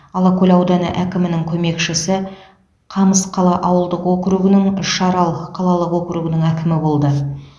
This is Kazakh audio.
алакөл ауданы әкімінің көмекшісі қамысқала ауылдық округінің үшарал қалалық округінің әкімі болды